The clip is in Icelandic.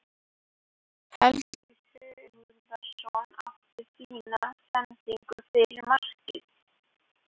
Helgi Sigurðsson átti fína sendingu fyrir markið.